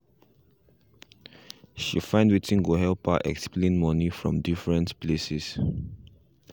she find wetin go help her explain moni from different places